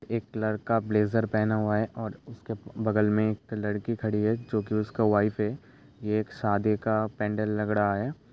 एक लड़का ब्लेज़र पहना हुआ है और उसके बगल में एक लड़की खड़ी है जो की उसका वाइफ है ये एक शादी का पेंडल लग रहा है।